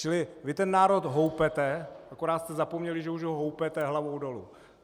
Čili vy ten národ houpete, akorát jste zapomněli, že už ho houpete hlavou dolů.